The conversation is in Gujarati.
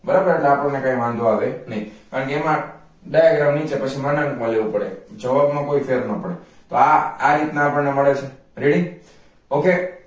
બરાબર એટલે આપણને કઈ વાંધો આવે નઈ કારણ કે એમાં diagram નીચે પછી વળાંક માં લેવો પડે જવાબ મા કોઈ ફેર ના પડે તો એ આ રીતના આપણને મળે છે ready ok